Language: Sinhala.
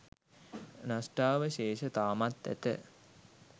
නෂ්ටාවශේෂ තාමත් ඇත